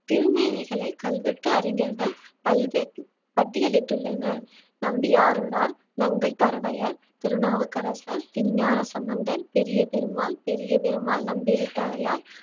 திருமேனிகளை கல்வெட்டு அறிஞர்கள் பல்வே~ பட்டியலிட்டுள்ளனர் நம்பியாரூரார், நங்கை பரவையார், திருநாவுக்கரசர், திருஞான சம்பந்தர், பெரிய பெருமாள் பெரிய பெருமாள் நம்பிராட்டியார்